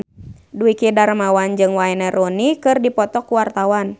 Dwiki Darmawan jeung Wayne Rooney keur dipoto ku wartawan